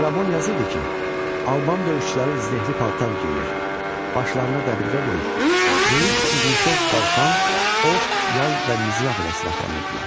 Strabon yazırdı ki, Alban döyüşçüləri zirehli paltar geyir, başlarına dəbilqə qoyur, böyük uzunsov qalxan, ox, yay və mizraq ilə silahlanırdılar.